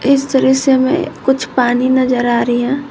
इस दृश्य मैं कुछ पानी नजर आ रही है।